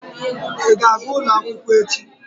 Ị ga-aga ụlọakụ echi?